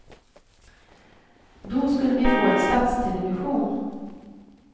Då skulle vi få en statstelevision.